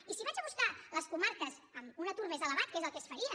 i si vaig a buscar les comarques amb un atur més elevat que és el que es faria